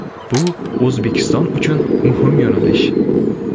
Bu O‘zbekiston uchun muhim yo‘nalish.